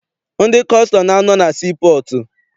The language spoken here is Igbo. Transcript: Ndị kọstọm na- anọ na sii pọọtụ.